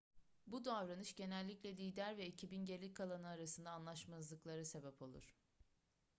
bu davranış genellikle lider ve ekibin geri kalanı arasında anlaşmazlıklara sebep olur